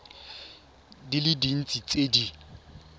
di le dintsi tse di